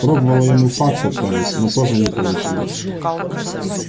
пробовала ему факс отправить но тоже не получилось